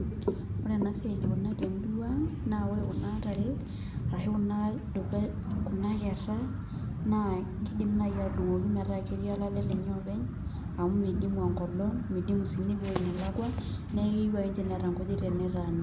Ore enasiai enikunari temurua ang, naa ore kuna tare, ashu kuna kerra, naa kidim nai atudung'oki metaa ketii olale lenye openy, amu midimu enkolong, midimu si nepuo eweoi nelakwa, neeku keu akenche neeta nkujit tenetaana.